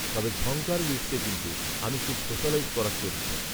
তবে ঝঙ্কার বিটসএ কিন্তু, আমি খুব সোশালাইজ করা চরিত্র